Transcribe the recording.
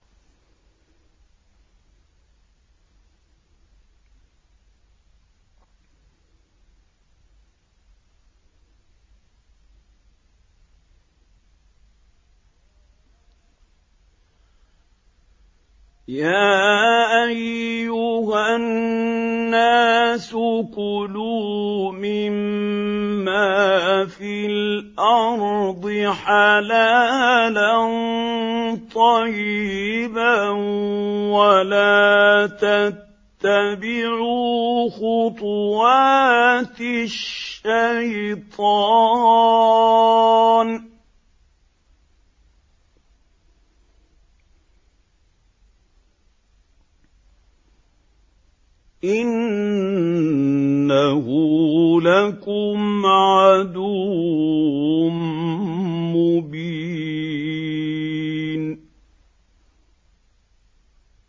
يَا أَيُّهَا النَّاسُ كُلُوا مِمَّا فِي الْأَرْضِ حَلَالًا طَيِّبًا وَلَا تَتَّبِعُوا خُطُوَاتِ الشَّيْطَانِ ۚ إِنَّهُ لَكُمْ عَدُوٌّ مُّبِينٌ